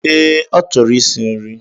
Ee, achọrọ ịsị nri.